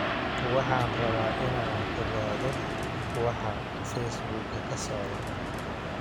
Waxaan rabaa inaan ogaado waxa Facebook-ga ka socda